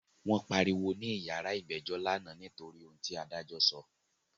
Wọ́n pariwo ní yàrá ìgbẹ́jọ́ lánàá nítorí ohun ti adájọ́ sọ.